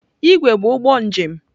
Igwe bụ ụgbọ njem.